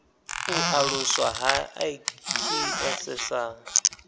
u aluswa ha iks sa